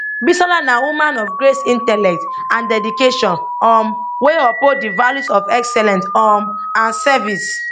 bisola na woman of grace intellect and dedication um wey uphold di values of excellence um and service